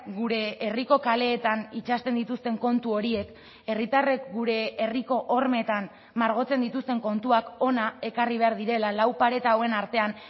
gure herriko kaleetan itsasten dituzten kontu horiek herritarrek gure herriko hormetan margotzen dituzten kontuak hona ekarri behar direla lau pareta hauen artean